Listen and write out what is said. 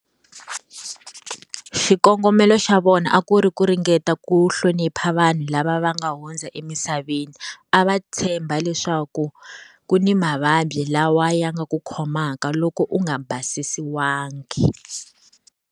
Xikongomelo xa vona a ku ri ku ringeta ku hlonipha vanhu lava va nga hundza emisaveni. A va tshemba leswaku ku ni mavabyi lawa ya nga ku khomaka loko u nga basisiwangi.